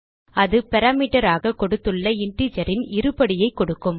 அது பாராமீட்டர் ஆக கொடுத்துள்ள இன்டிஜர் ன் இருபடியை கொடுக்கும்